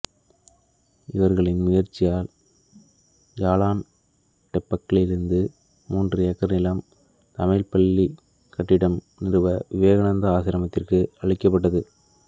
இவர்களின் முயற்சியால் ஜாலான் டெம்பளலிருந்து மூன்று ஏக்கர் நிலம் தமிழ்ப்பள்ளிக் கட்டிடம் நிறுவ விவேகானந்தா ஆசிரமத்திற்கு அளிக்கப்பட்டது